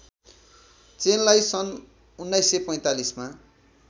चेनलाई सन् १९४५ मा